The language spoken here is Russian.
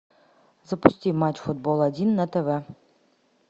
запусти матч футбол один на тв